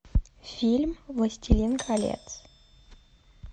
фильм властелин колец